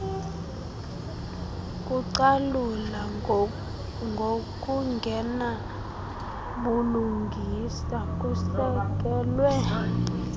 kucalula ngokungenabulungisa kusekelwe